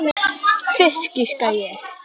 Fisk, giskaði ég.